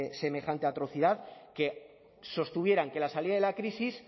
semejante atrocidad que sostuvieran que la salida de la crisis